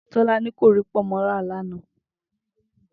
Tó̩laní kò rí pò̩nmó̩ rà lánàá